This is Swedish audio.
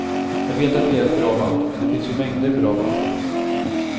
Jag vet att vi är ett bra band men det finns ju mängder bra band.